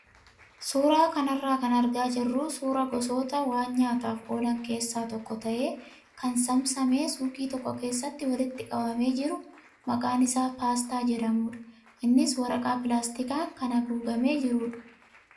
Suuraa kanarraa kan argaa jirru suuraa gosoota waan nyaataaf oolan keessaa tokko ta'ee kan saamsamamee suuqii tokko keessatti walitti qabamee jiru maqaan isaa paastaa jedhamudha. Innis waraqaa pilaastikaan kan haguugamee jirudha.